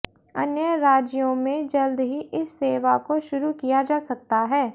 अन्य राज्यों में जल्द ही इस सेवा को शुरू किया जा सकता है